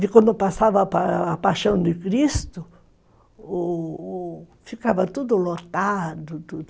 Quando passava a a Paixão de Cristo, o o ficava tudo lotado.